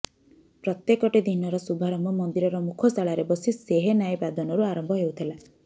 ପ୍ରତ୍ୟେକଟି ଦିନର ଶୁଭାରମ୍ଭ ମନ୍ଦିରର ମୁଖଶାଳାରେ ବସି ସେହେନାଇ ବାଦନରୁ ଆରମ୍ଭ ହେଉଥିଲା